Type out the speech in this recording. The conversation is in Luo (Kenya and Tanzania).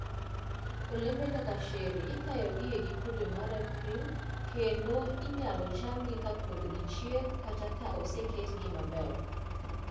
Olembe kaka cherry ikayo e giko dwe mar April, kendo inyalo chamgi ka pod gichiek kata ka oseketgi maber.